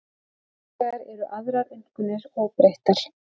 Hins vegar eru aðrar einkunnir óbreyttar